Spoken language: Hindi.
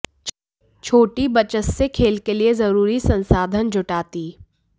छोटी बचत से खेल के लिए जरूरी संसाधन जुटाती